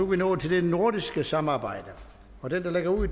vi nået til det nordiske samarbejde den der lægger ud